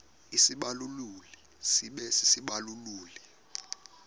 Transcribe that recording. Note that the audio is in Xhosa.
isibaluli sibe sisibaluli